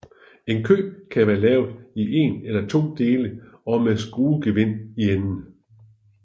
En kø kan være lavet i en eller to dele og med skruegevind i enden